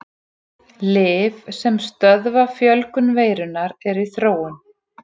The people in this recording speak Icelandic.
Lyf sem stöðva fjölgun veirunnar eru í þróun.